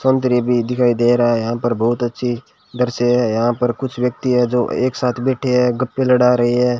संतरे भी दिखाई दे रहा है यहां पर बहोत अच्छी दृश्य है यहां पर कुछ व्यक्ति है जो एक साथ बैठे हैं गप्पे लड़ा रही है।